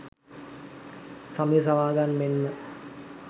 සමිති සමාගම් මෙන්ම